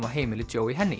á heimili